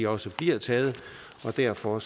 også bliver taget og derfor